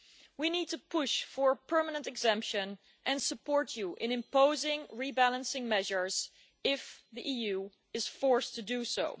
We need to push for permanent exemption and support you in imposing rebalancing measures if the EU is forced to do so.